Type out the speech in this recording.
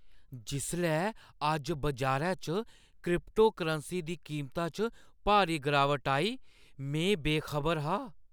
जिसलै अज्ज बजारै च क्रिप्टोकरेंसी दी कीमता च भारी गिरावट आई, में बेखबर हा।